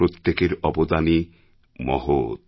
প্রত্যেকের অবদানই মহৎ